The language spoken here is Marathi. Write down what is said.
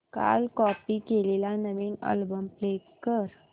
काल कॉपी केलेला नवीन अल्बम प्ले कर